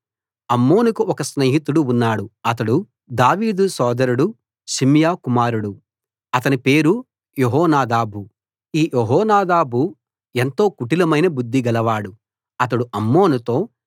అమ్నోనుకు ఒక స్నేహితుడు ఉన్నాడు అతడు దావీదు సోదరుడు షిమ్యా కుమారుడు అతని పేరు యెహోనాదాబు ఈ యెహోనాదాబు ఎంతో కుటిలమైన బుద్ది గలవాడు అతడు అమ్నోనుతో